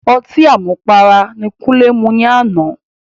Ọtí àmupara ni Kúnlé mu ní àná.